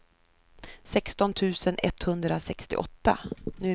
sexton tusen etthundrasextioåtta